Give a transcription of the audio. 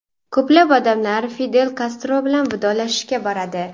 Ko‘plab odamlar Fidel Kastro bilan vidolashishga boradi.